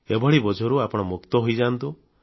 ଏଭଳି ବୋଝରୁ ଆପଣ ମୁକ୍ତ ହୋଇଯାଆନ୍ତୁ